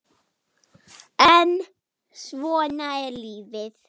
en svona er lífið.